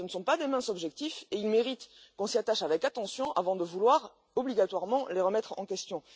Ce ne sont pas de minces objectifs et ils méritent que l'on s'y attache avec attention avant de vouloir obligatoirement les remettre en question.